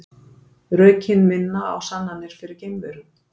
Rökin minna á sannanir fyrir geimverum